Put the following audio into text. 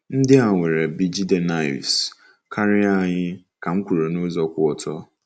"Ndị a nwere bJidennaefs karịa anyị," ka m kwuru n'ụzọ kwụ ọtọ.